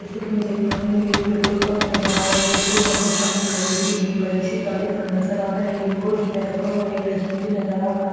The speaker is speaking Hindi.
जैसे की मैं देख पा रही हूँ एक पेट्रोल पंप नजर आ रहा है पेट्रोल पंप के सामने खड़ी हुई एक बड़ी सी गाड़ी ख नज़र आ रही है और उसमे रखा हुआ एक डस्टबिन भी नजर आ रहा है।